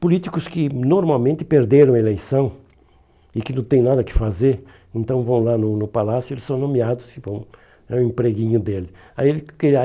Políticos que normalmente perderam a eleição e que não tem nada que fazer, então vão lá no no palácio e são nomeados e vão, é o empreguinho dele. Aí ele